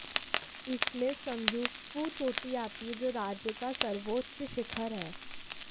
इसमें संदक्फू चोटी आती है जो राज्य का सर्वोच्च शिखर है